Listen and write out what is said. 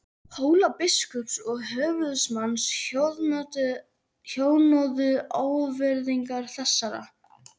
Hólabiskups og höfuðsmanns hjöðnuðu ávirðingar þessar.